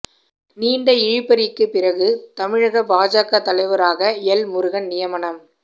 நீண்ட இழுபறிக்கு பிறகு தமிழக பாஜக தலைவராக எல் முருகன் நியமனம்